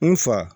N fa